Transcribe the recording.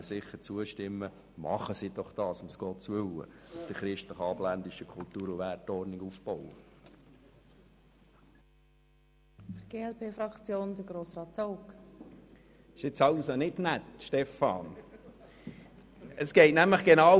Christliche Kirchen tun doch nichts anderes, als sich auf die christlich-abendländische Wertordnung abzustützen, um Gottes willen!